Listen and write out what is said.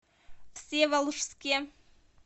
всеволожске